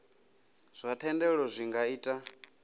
zwa thendelo zwi nga ita